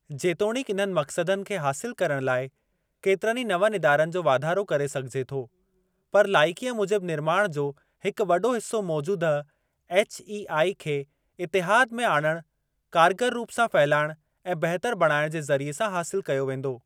जेतोणीकि इन्हनि मक़सदनि खे हासिल करण लाइ केतिरनि नवनि इदारनि जो वाधारो करे सघिजे थो, पर लाइकीअ मूजिबि निर्माण जो हिकु वॾो हिस्सो मौजूदह एचईआई खे इतिहाद में आणणु, कारगर रूप सां फहिलाइणु ऐं बहितर बणाइण जे ज़रिए सां हासिल कयो वेंदो।